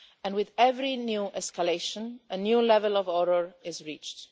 With every new escalation a new level of horror is reached.